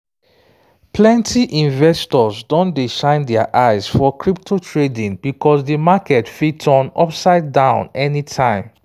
plenty investors don dey shine their eyes for crypto trading because di market fit turn upside-down anytime